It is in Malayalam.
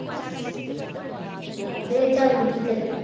അത്ച്ചാ അറബി teacher റ്